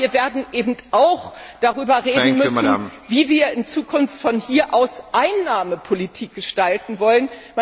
Aber wir werden auch darüber reden müssen, wie wir in Zukunft von hier aus Einnahmepolitik gestalten wollen.